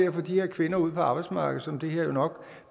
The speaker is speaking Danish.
at få de her kvinder ud på arbejdsmarkedet som det her nok